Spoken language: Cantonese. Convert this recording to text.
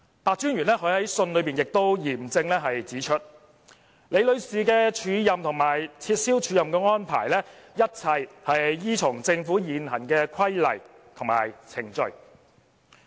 白專員在信中亦嚴正指出，李女士的署任和撤銷署任的安排，一切均依從政府現行規例和程序。